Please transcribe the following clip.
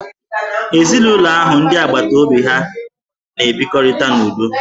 Ezinụlọ ahụ n'ndị agbataobi ha n'ebikọrịta n'udo